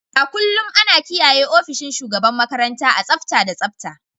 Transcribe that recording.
A kullum ana kiyaye ofishin shugaban makaranta a tsafta da tsabta.